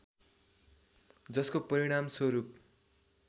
जसको परिणामस्वरूप